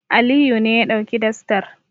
Aliyu ne ya ɗauki dastar.